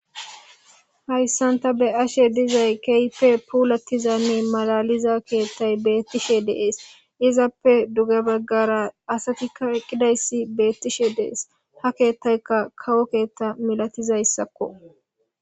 Hayisani ta beyashe dizay kehippe pulatizanne malaaliza keththeyi betishe deesi hesappe duge bagara asatikka betishe dizayisi betishe deesi ha keeththayikka kawo keeththa misatizayisakko